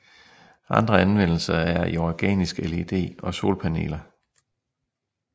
Andre anvendelser er i organisk LED og solpaneler